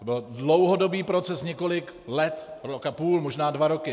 To byl dlouhodobý proces, několik let, rok a půl, možná dva roky.